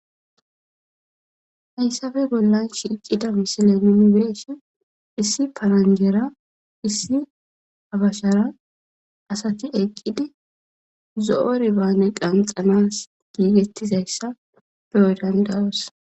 Hayssabe gollan shiicida misile mimibireshe issi paranjera issi abashara asati eqqidi zo'o ribaane qanxanas giigettizayssa beyo dandawos.